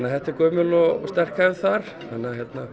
þetta er gömul og sterk hefð þar þannig að